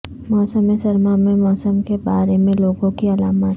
موسم سرما میں موسم کے بارے میں لوگوں کی علامات